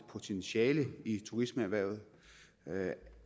potentiale i turismeerhvervet